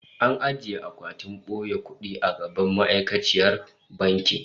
An ajiye akwatin boye kudi a gaban ma'aikaciyar bankin